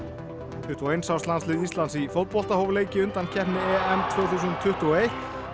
tuttugu og eins árs landslið Íslands í fótbolta hóf leik í undankeppni tvö þúsund tuttugu og eitt